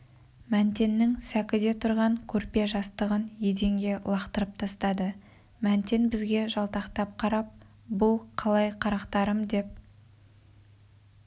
мәнтеннің сәкіде тұрған көрпе-жастығын еденге лақтырып тастады мәнтен бізге жалтақтап қарап бұл қалай қарақтарым деп